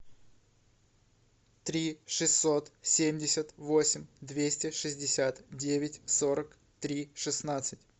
три шестьсот семьдесят восемь двести шестьдесят девять сорок три шестнадцать